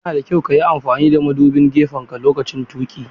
Yana da kyau ka yi amfani da madubin gefenka lokacin tuƙi.